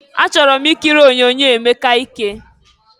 Achọrọ m ikiri onyoonyo Emeka ike.